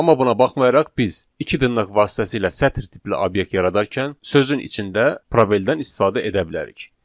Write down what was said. Amma buna baxmayaraq biz iki dırnaq vasitəsilə sətir tipli obyekt yaradarkən sözün içində probeldən istifadə edə bilərik.